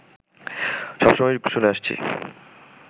সবসময় শুনে আসছি